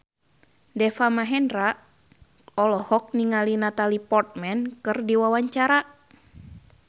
Deva Mahendra olohok ningali Natalie Portman keur diwawancara